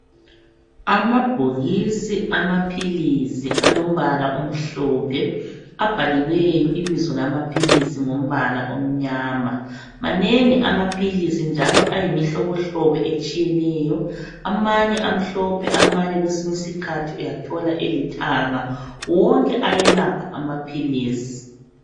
Amabhokisi amaphilisi alombala omhlophe abhaliweyo ibizo lamaphilisi ngombala omnyama. Manengi amaphilisi, njalo ayimihlobohlobo etshiyeneyo. Amanye amhlophe, amanye uyathola elithanga kwesiny'isikihathi. Wonke ayelapha amaphilisi.